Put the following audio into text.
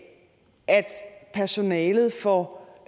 at personalet får